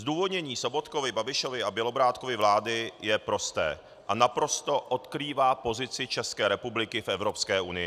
Zdůvodnění Sobotkovy, Babišovy a Bělobrádkovy vlády je prosté a naprosto odkrývá pozici České republiky v Evropské unii.